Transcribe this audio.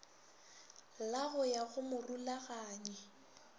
la go ya go morulaganyi